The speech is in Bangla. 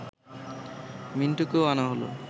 মিন্টুকেও আনা হল